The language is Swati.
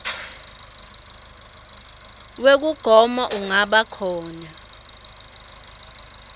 wekugoma ungaba khona